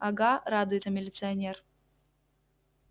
ага радуется милиционер